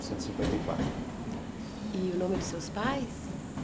centos e cinquenta e quatro. E o nome dos seus pais?